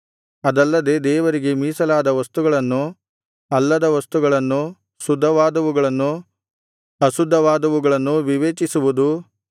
ಅದಲ್ಲದೆ ದೇವರಿಗೆ ಮೀಸಲಾದ ವಸ್ತುಗಳನ್ನು ಅಲ್ಲದ ವಸ್ತುಗಳನ್ನು ಶುದ್ಧವಾದವುಗಳನ್ನು ಅಶುದ್ಧವಾದವುಗಳನ್ನು ವಿವೇಚಿಸುವುದೂ